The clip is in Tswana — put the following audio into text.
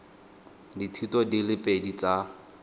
dithuto di le pedi tsa